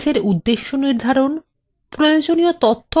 প্রয়োজনীয় তথ্য খোঁজা এবং সংগঠন